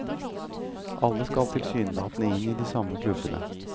Alle skal tilsynelatende inn i de samme klubbene.